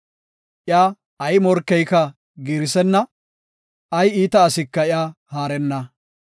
Iya ay morkeyka giirisenna; ay iita asika iya haarenna.